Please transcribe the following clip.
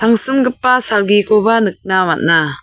usimgipa salgikoba nikna man·a.